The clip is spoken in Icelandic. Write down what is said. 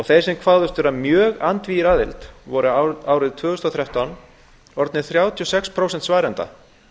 þeir sem kváðust mjög andvígir aðild voru árið tvö þúsund og þrettán orðnir þrjátíu og sex prósent svarenda